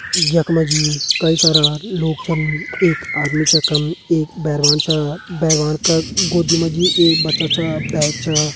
यख मा जी कई सारा लोग छन एक आदमी छ यखम एक बैरवान छ बैरवान का गोदी मा जी एक बच्चा छ बैग छ ।